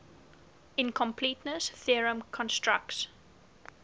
incompleteness theorem constructs